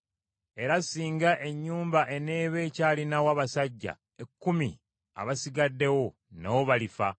Era singa ennyumba eneeba ekyalinawo abasajja ekkumi abasigaddewo, nabo balifa.